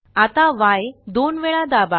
आता य दोन वेळा दाबा